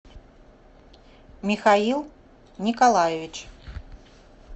михаил николаевич